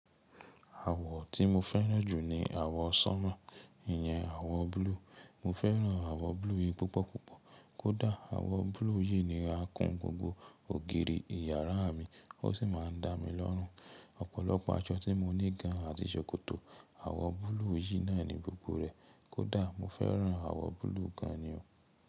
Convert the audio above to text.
Àwọ̀ tí mo fẹ́ràn jù ni àwọ̀ sanmo, ìyẹn àwọ̀ blue. Mo fẹ́ràn àwọ̀ blue yìí púpọ̀ púpọ̀. Kódà àwọ̀ blue yìí ni a kun gbogbo ògiri ìyàrá mi, ó sì máa ń dá mi lọ́rùn. Ọ̀pọ̀lọpọ̀ aṣọ tí mo ní gan àti ṣòkòtò, àwọ̀ blue yìí náà ni gbogbo rẹ̀. Kódà mo fẹ́ràn àwọ̀ blue gan ni o.